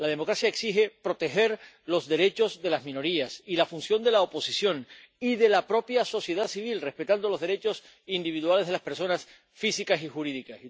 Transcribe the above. La democracia exige proteger los derechos de las minorías y la función de la oposición y de la propia sociedad civil, respetando los derechos individuales de las personas físicas y jurídicas.